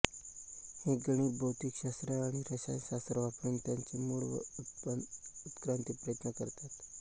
हे गणित भौतिकशास्त्रआणि रसायनशास्त्र वापरुन त्यांचे मूळ व उत्क्रांतीप्रयत्न करतात